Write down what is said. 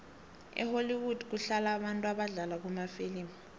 ehollwood kuhlala abantu abadlala kumafilimu